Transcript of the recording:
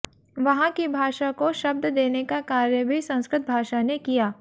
वहां की भाषा को शब्द देने का कार्य भी संस्कृत भाषा ने किया